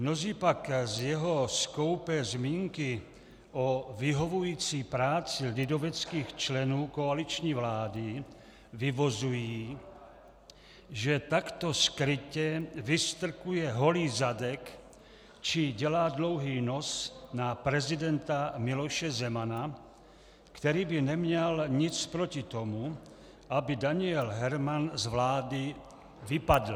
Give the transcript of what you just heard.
Mnozí pak z jeho skoupé zmínky o vyhovující práci lidoveckých členů koaliční vlády vyvozují, že takto skrytě vystrkuje holý zadek či dělá dlouhý nos na prezidenta Miloše Zemana, který by neměl nic proti tomu, aby Daniel Herman z vlády vypadl.